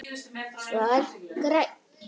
Svar: Grænn